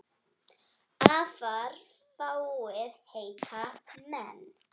Afar fáir heita menn.